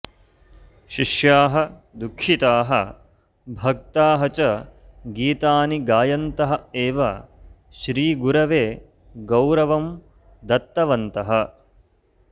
शिष्याः दुःखिताः भक्ताः च गीतानि गायन्तः एव श्रीगुरवे गौरवं दत्तवन्तः